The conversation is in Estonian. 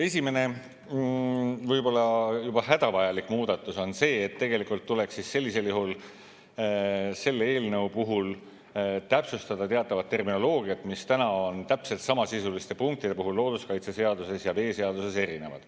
Esimene, võib-olla juba hädavajalik muudatus on see, et tegelikult tuleks sellisel juhul selle eelnõu puhul täpsustada teatavat terminoloogiat, mis täna on täpselt samasisuliste punktide puhul looduskaitseseaduses ja veeseaduses erinevad.